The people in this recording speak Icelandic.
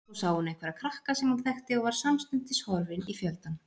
Svo sá hún einhverja krakka sem hún þekkti og var samstundis horfin í fjöldann.